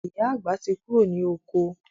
Ìyá àgbà tí kúrò ní oko